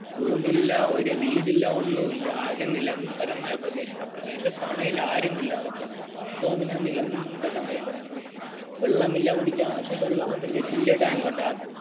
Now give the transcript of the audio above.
റൂമില്ല ഒരു വിടില്ല ഒന്നുമില്ല ആകെ നിലബരമായ പ്രദേശം ആ പ്രദേശതന്നെങ്ങയിൽ ആരുമില്ല നോക്കാൻ മൊത്തം ഇങ്ങനെ നിലമ്പരമായി കിടക്കും വെള്ളമില്ല കുടിക്കാൻ പക്ഷേ വെള്ളം ഉണ്ട് വലിയ ടാങ്കിൽ